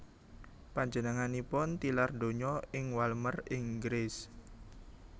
Panjenenganipun tilar donya ing Walmer Inggris